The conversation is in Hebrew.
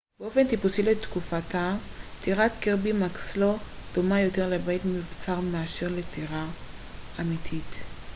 באופן טיפוסי לתקופתה טירת קירבי מקסלו דומה יותר לבית מבוצר מאשר לטירה אמיתית